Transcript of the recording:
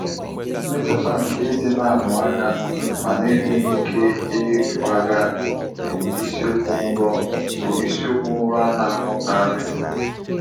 Mmetụta nke ịdị na-amụ anya mana enweghị ike ịkwaga bụ isiokwu nrọ bụ isiokwu nrọ a na-ahụkarị.